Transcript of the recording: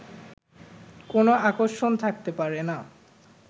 কোনো আকর্ষণ থাকতে পারে না